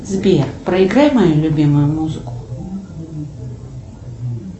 сбер проиграй мою любимую музыку